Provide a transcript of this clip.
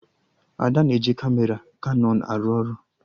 Ada na-eji Kamera Kanọn arụ ọrụ